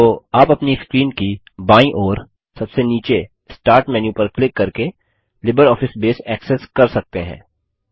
तो आप अपनी स्क्रीन की बायीं ओर सबसे नीचे स्टार्ट मेनू पर क्लिक करके लिबरऑफिस बेस ऐक्सेस कर सकते हैं